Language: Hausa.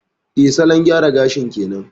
Eh, salon gyara gashin kenan.